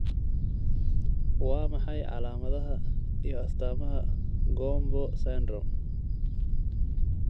Waa maxay calaamadaha iyo astaamaha GOMBO syndrome?